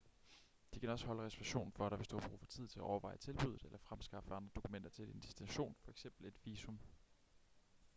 de kan også holde reservationen for dig hvis du har brug for tid til at overveje tilbuddet eller fremskaffe andre dokumenter til din destination f.eks. et visum